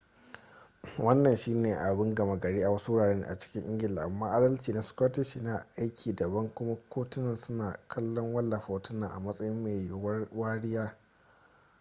wannan shi ne abin gama gari a wasu wurare a cikin ingila amma adalci na scottish yana aiki daban kuma kotunan suna kallon wallafa hotunan a matsayin mai yuwuwar wariya